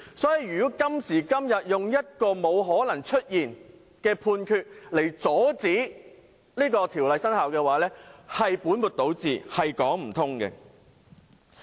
因此，如果今天以一個不存在的判決來阻止該條例生效，是本末倒置，是說不通的。